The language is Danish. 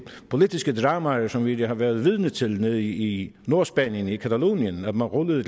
politiske dramaer som vi har været vidne til nede i nordspanien i catalonien hvor man rullede